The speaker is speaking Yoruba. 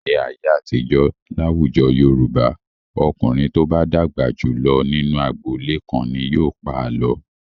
Ní ayé àtijọ́, láwùjọ Yorùbá, ọkùnrin tó bá dàgbà jù lọ nínú agboolé kan ni yóò pa àlọ́.